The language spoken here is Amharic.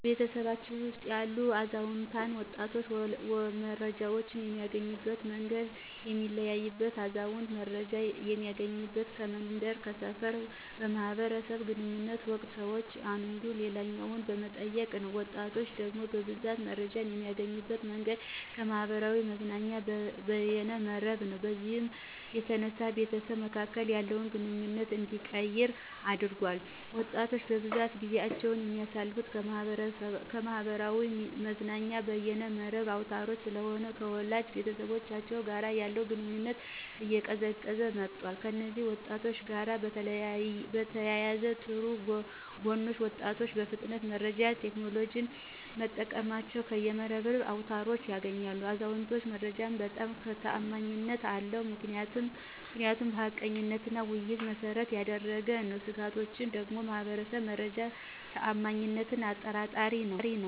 በቤተሰባችን ውስጥ ያሉ አዛውንትና ወጣቶች መረጃን የሚያገኙበት መንገድ የሚለያይበት አዛውንት መረጃን እሚያገኙበት ከመንደር፥ ከሰፈር በማህበር ግንኙነት ወቅት ሰወች አንዱ ሌላኛውን በመጠየቅ ነው። ወጣቶች ደግሞ በብዛት መረጃን የሚያገኙበት መንገድ ከማህበራዊ መገናኛና በየነ መረብ ነው። በዚህም የተነሳ በቤተሰብ መካከል ያለውን ግንኙነት እንዲቀየር አድርጎታል። ወጣቶች በብዛት ጊዜአቸውን የሚያሳልፍት ከማህበራዊ መዝናኛና በየነ መረብ አውታሮች ስለሆነ ከወላጅ ቤተሰቦቻቸው ጋር ያለው ግንኙነት እየቀዘቀዘ መጧል። ከእነዚህ ለውጦች ጋር በተያያዘ ጥሩ ጎኖች ወጣቶች በፍጥነት መረጃን ቴክኖሎጅን በመጠቀም ከየነ መረብ አውታሮች ያገኛሉ። የአዛውንቶች መረጃ በጣም ተአማኒነት አለው ምክንያቱም ሀቀኝነትና ውይይትን መሰረት ያደረገ ነው። ስጋቶች ደግሞ ማህበር መረጃ ተአማኒነት አጠራጣሪ ነዉ።